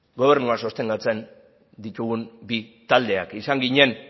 gobernua sostengatzen ditugun bi taldeak izan ginen